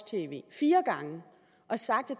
tv fire gange og sagt at